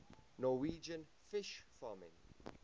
norwegian fish farming